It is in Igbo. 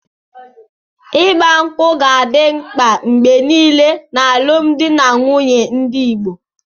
Ịgba ṅkwú ga-adị mkpa mgbe nile n'alụmdi na nwunye ndị Igbo.